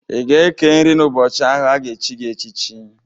Ị ga-eke nri n'ụbọchị ahụ a ga-echi gị echichi.